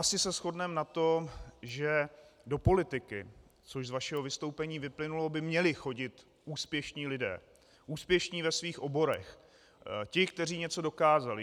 Asi se shodneme na tom, že do politiky, což z vašeho vystoupení vyplynulo, by měli chodit úspěšní lidé, úspěšní ve svých oborech, ti, kteří něco dokázali.